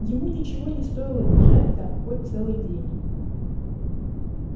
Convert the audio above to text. ему ничего не стоило бежать так хоть целый день